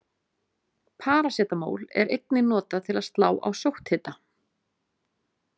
Parasetamól er einnig notað til að slá á sótthita.